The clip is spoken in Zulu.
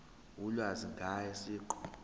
ulwazi ngaye siqu